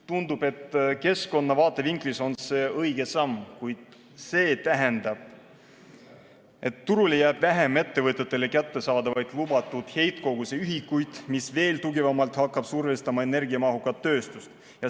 Tundub, et keskkonna vaatevinklist on see õige samm, kuid see tähendab, et turule jääb vähem ettevõtetele kättesaadavaid lubatud heitkoguse ühikuid, mis veel tugevamalt hakkab survestama energiamahukat tööstust.